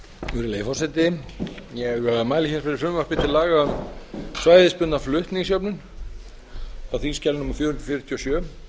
virðulegi forseti ég mæli fyrir frumvarpi til laga um svæðisbundna flutningsjöfnun á þingskjali fjögur hundruð fjörutíu og sjö